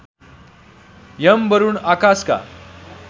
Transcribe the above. Yama Varuna आकासका